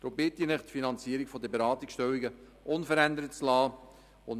Darum bitte ich Sie, die Finanzierung der Beratungsstellen unverändert zu belassen.